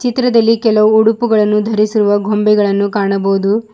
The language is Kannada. ಚಿತ್ರದಲ್ಲಿ ಕೆಲವು ಉಡುಪುಗಳನ್ನು ಧರಿಸಿರುವ ಗೊಂಬೆಗಳನ್ನು ಕಾಣಬಹುದು.